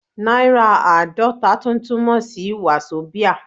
Náírà Aadọ́ta tún túmọ̀ sí Wazobia.